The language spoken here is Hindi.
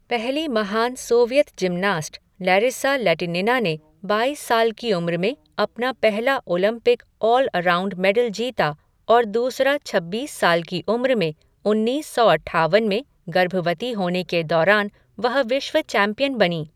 पहली महान सोवियत जिमनास्ट, लैरिसा लैटिनिना ने बाईस साल की उम्र में अपना पहला ओलंपिक ऑल अराउंड मेडल जीता और दूसरा छब्बीस साल की उम्र में, उन्नीस सौ अट्ठावन में गर्भवती होने के दौरान वह विश्व चैंपियन बनीं।